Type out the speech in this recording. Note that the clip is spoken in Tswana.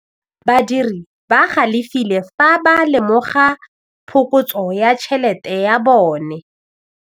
Badiri ba galefile fa ba lemoga phokotsô ya tšhelête ya bone.